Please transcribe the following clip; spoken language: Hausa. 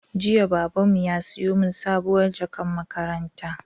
Jiya Babanmu ya siyo min sabuwar jakar makaranta